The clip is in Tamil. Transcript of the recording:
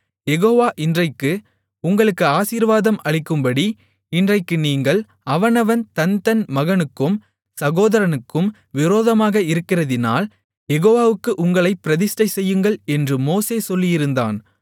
யெகோவா இன்றைக்கு உங்களுக்கு ஆசீர்வாதம் அளிக்கும்படி இன்றைக்கு நீங்கள் அவனவன் தன் தன் மகனுக்கும் சகோதரனுக்கும் விரோதமாக இருக்கிறதினால் யெகோவாவுக்கு உங்களைப் பிரதிஷ்டைசெய்யுங்கள் என்று மோசே சொல்லியிருந்தான்